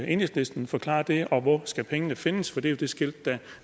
enhedslisten forklare det og hvor skal pengene findes for det er jo det skilt der